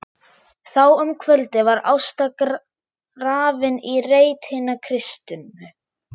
Þá um kvöldið var Ásta grafin í reit hinna kristnu.